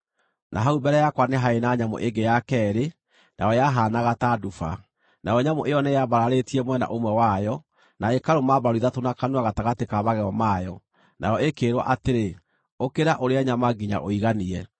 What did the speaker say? “Na hau mbere yakwa nĩ haarĩ na nyamũ ĩngĩ ya keerĩ, nayo yahaanaga ta nduba. Nayo nyamũ ĩyo nĩyambararĩtie mwena ũmwe wayo, na ĩkarũma mbaru ithatũ na kanua gatagatĩ ka magego mayo. Nayo ĩkĩĩrwo atĩrĩ, ‘Ũkĩra ũrĩe nyama nginya ũiganie!’